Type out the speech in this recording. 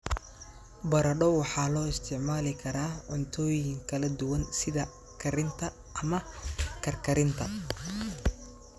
Baradho waxaa loo isticmaali karaa cuntooyin kala duwan sida karinta ama karkarinta.